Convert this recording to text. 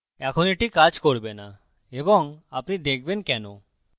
এখন এটি কাজ করবে now এবং আপনি দেখবেন কেন